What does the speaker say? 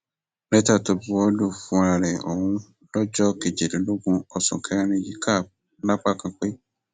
lẹtà tó buwọ lù fúnra ẹ ọhún lọjọ kejìdínlógún oṣù kẹrin yìí kà lápá kan pé